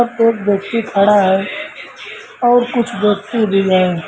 एक व्यक्ति खड़ा है और कुछ व्यक्ति भी हैं।